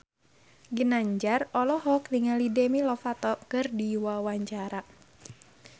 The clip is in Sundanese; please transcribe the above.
Ginanjar olohok ningali Demi Lovato keur diwawancara